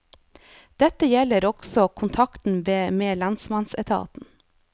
Dette gjelder også kontakten med lensmannsetaten.